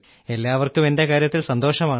എല്ലാവർക്കും എന്റെ കാര്യത്തിൽ സന്തോഷമാണ്